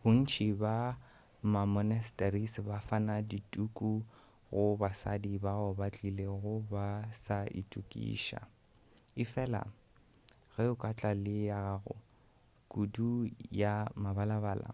bontši bja ma-monasteries ba fana ka dituku go basadi bao ba tlilego ba sa itokiša efela ge o ka tla le ya gago kudu ya mebalabala